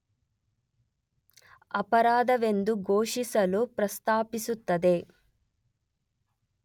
ಅಪರಾಧವೆಂದು ಘೋಷಿಸಲು ಪ್ರಸ್ತಾಪಿಸುತ್ತದೆ.